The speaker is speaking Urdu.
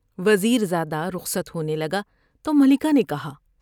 وزیر زاد ہ رخصت ہونے لگا تو ملکہ نے کہا ۔